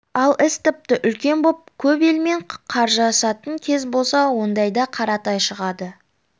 ал іс тіпті үлкен боп көп елмен қаржасатын кез болса ондайда қаратай шығады